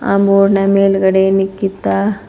ಆ ಬೋರ್ಡ್ ನ ಮೇಲ್ಗಡೆ ನಿಕಿತಾ--